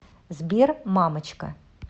сбер мамочка